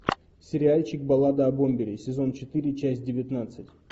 сериальчик баллада о бомбере сезон четыре часть девятнадцать